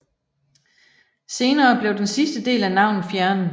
Senere blev den sidste del af navnet fjernet